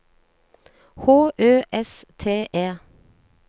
H Ø S T E